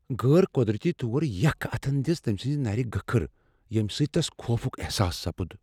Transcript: غٲر قودرتی طور یخ اتھٕن دِژ تمہِ سٕنزِ نرِ گٕكھٕر، ییمہِ سۭتۍ تس خوفُك احساس سپُد ۔